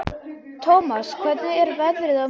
Thomas, hvernig er veðrið á morgun?